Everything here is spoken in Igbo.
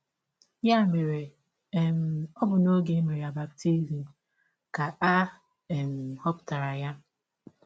Ya mere, um ọ bụ n’ọge e mere ya baptism ka a um họpụtara ya.